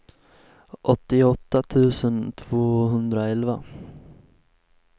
åttioåtta tusen tvåhundraelva